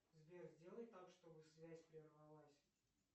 сбер сделай так чтобы связь прервалась